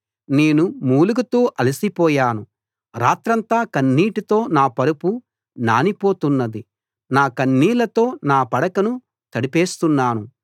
నేను మూలుగుతూ అలసిపోయాను రాత్రంతా కన్నీటితో నా పరుపు నానిపోతున్నది నా కన్నీళ్లతో నా పడకను తడిపేస్తున్నాను